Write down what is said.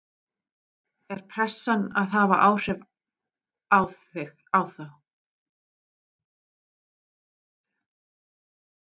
Er pressan farin að hafa áhrif á þá?